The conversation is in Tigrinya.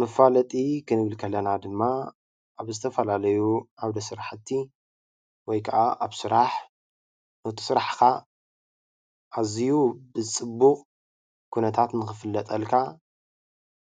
መፋለጢ ክንብል ከለና ድማ ኣብ ዝተፈላለዩ ዓዉደ ስራሕቲ ወይ ከዓ ኣብ ስራሕ ነቲ ስራሕካ ኣዝዪ ብፅቡቅ ኩነታት ንክፍለጠልካ